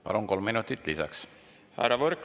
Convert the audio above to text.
Palun, kolm minutit lisaks!